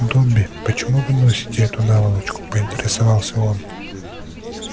добби почему вы носите эту наволочку поинтересовался он